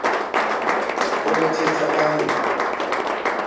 a mo thetsa ka ho